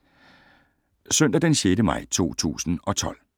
Søndag d. 6. maj 2012